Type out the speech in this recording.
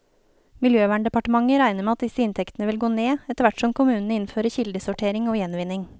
Miljøverndepartementet regner med at disse inntektene vil gå ned, etterhvert som kommunene innfører kildesortering og gjenvinning.